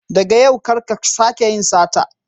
Daga yau kar ka sake yin sata.